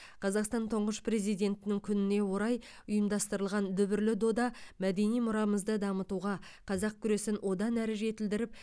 қазақстан тұңғыш президентінің күніне орай ұйымдастырылған дүбірлі дода мәдени мұрамызды дамытуға қазақ күресін одан ары жетілдіріп